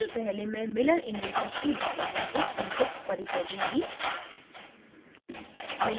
इससे पहले मैं miller indices के बारे में एक संक्षिप्त परिचय दूँगी